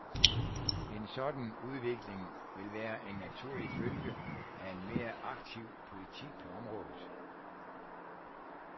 En sådan udvikling vil være en naturlig følge af en mere aktiv politik på området.